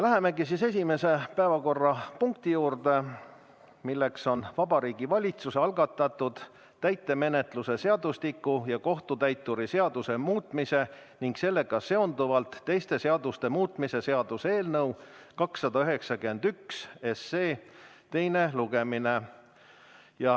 Lähemegi siis esimese päevakorrapunkti juurde, milleks on Vabariigi Valitsuse algatatud täitemenetluse seadustiku ja kohtutäituri seaduse muutmise ning sellega seonduvalt teiste seaduste muutmise seaduse eelnõu 291 teine lugemine.